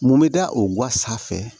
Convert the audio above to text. Mun bɛ da o ga sanfɛ